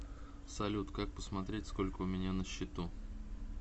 салют как посмотреть сколько у меня на счету